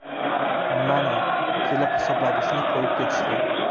Mana, kelib, hisoblagichni qo‘yib ketishdi.